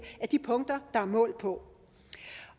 af de punkter der er målt på